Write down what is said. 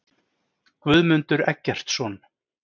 Guðmundur Eggertsson.